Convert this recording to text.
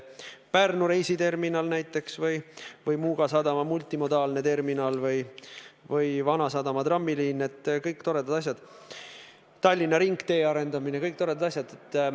Pärnu reisiterminal või Muuga sadama multimodaalne terminal või Vanasadama trammiliin, Tallinna ringtee arendamine – kõik toredad asjad.